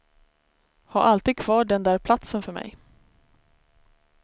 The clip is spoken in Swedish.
Ha alltid kvar den där platsen för mig.